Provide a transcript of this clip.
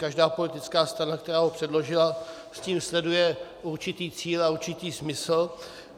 Každá politická strana, která ho předložila, tím sleduje určitý cíl a určitý smysl.